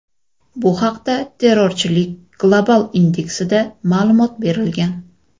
Bu haqda Terrorchilik global indeksida ma’lumot berilgan .